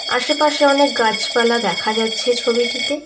আশেপাশে অনেক গাছপালা দেখা যাচ্ছে ছবিটিতে।